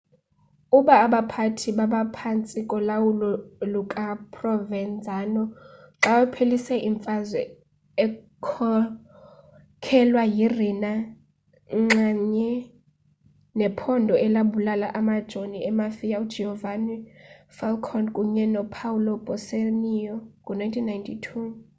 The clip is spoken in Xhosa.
aba baphathi babaphantsi kolawulo lukaprovenzano xa waphelisa imfazwe ekhokhelwa yi-rina nxamnye nephondo elabulala amajoni emafia ugiovanni falcone kunye nopaolo borsellino ngo-1992